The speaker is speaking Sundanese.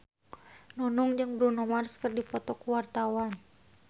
Nunung jeung Bruno Mars keur dipoto ku wartawan